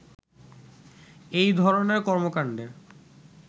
এই ধরণের কর্মকাণ্ডে